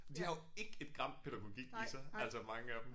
Men de har jo ikke et gram pædagogik i sig altså mange af dem